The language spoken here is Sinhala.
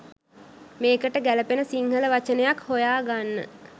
මේකට ගැළපෙන සිංහල වචනයක් හොයා ගන්න